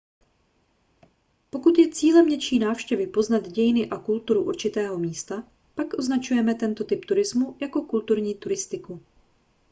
pokud je cílem něčí návštěvy poznat dějiny a kulturu určitého místa pak označujeme tento typ turismu jako kulturní turistiku